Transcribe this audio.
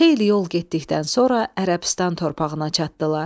Xeyli yol getdikdən sonra Ərəbistan torpağına çatdılar.